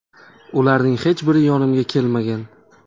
Ularning hech biri yonimga kelmagan.